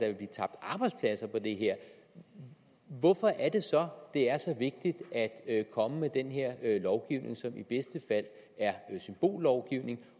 vil blive tabt arbejdspladser på det her hvorfor er det så det er så vigtigt at komme med den her lovgivning som i bedste fald er symbollovgivning